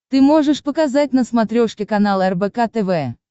ты можешь показать на смотрешке канал рбк тв